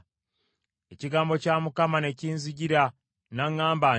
Ekigambo kya Mukama ne kinzijira n’aŋŋamba nti,